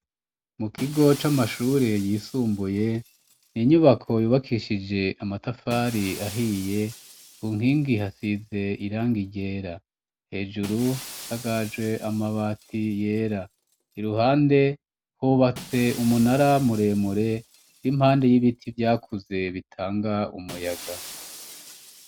Mukigo c'amashure yisumbuye n'inyubako yubakishije amatafari ahiye kunkingi hasize irangi ryera, hejuru hasakaje amabati yera, iruhande hubatse umunara muremure ur'impande y'ibiti vyakuze bitanga umuyaga.